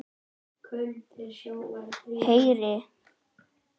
Heyri að mamma huggar hann.